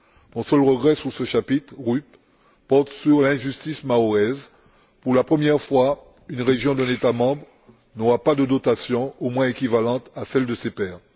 Mon seul regret sur ce chapitre RUP porte sur l'injustice mahoraise pour la première fois, une région d'un État membre n'aura pas de dotation au moins équivalente à celle de ses pairs.